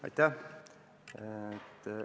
Aitäh!